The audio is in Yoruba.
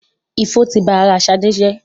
Ifo ti ba ara Ṣadé jẹ́.